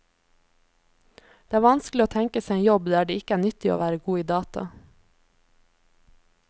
Det er vanskelig å tenke seg en jobb der det ikke er nyttig å være god i data.